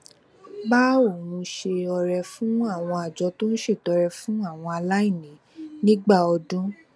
bá òun ṣe ọrẹ fún àwọn àjọ tó ń ṣètọrẹ fún àwọn aláìní nígbà ọdún